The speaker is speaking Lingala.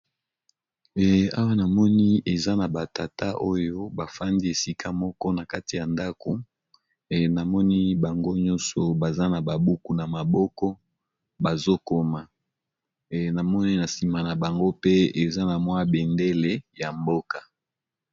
Awa namoni eza naba tata oyo bafandi bango nionso na ndaku, pe namoni béndélé moko sima na bango